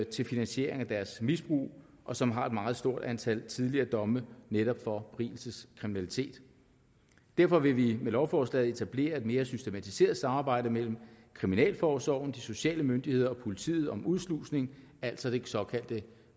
til finansiering af deres misbrug og som har et meget stort antal tidligere domme netop for berigelseskriminalitet derfor vil vi med lovforslaget etablere et mere systematiseret samarbejde mellem kriminalforsorgen de sociale myndigheder og politiet om udslusning altså det såkaldte